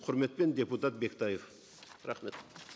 құрметпен депутат бектаев рахмет